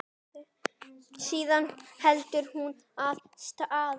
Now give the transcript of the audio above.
Síðan heldur hún af stað.